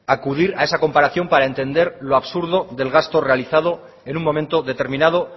acudir a esa comparación para entender lo absurdo del gasto realizado en un momento determinado